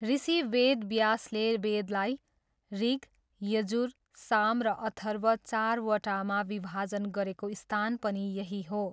ऋषि वेदव्यासले वेदलाई ऋग, यजुर, साम र अथर्व चारवटामा विभाजन गरेको स्थान पनि यही हो।